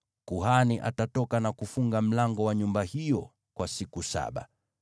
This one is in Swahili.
kuhani atatoka na kufunga mlango wa nyumba hiyo kwa siku saba.